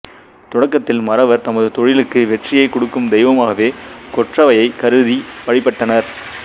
தொடக்கத்தில் மறவர் தமது தொழிலுக்கு வெற்றியைக் கொடுக்கும் தெய்வமாகவே கொற்றவையைக் கருதி வழிபட்டனர்